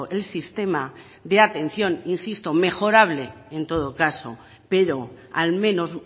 el sistema de atención insisto mejorable en todo caso pero al menos